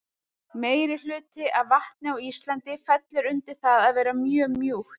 Meirihluti af vatni á Íslandi fellur undir það að vera mjög mjúkt.